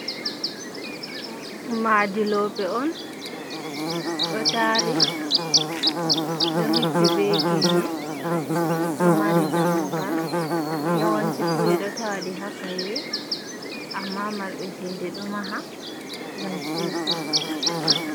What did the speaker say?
Madi lope on ɗo tari ɗo hippi be genne ɗo mari dammugal, yawanci fu ɓeɗo tawaɗi ha kaiwe on amma marɓe chede ɗo maha ngam siwtugo.